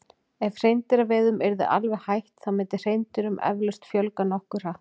ef hreindýraveiðum yrði alveg hætt þá myndi hreindýrum eflaust fjölga nokkuð hratt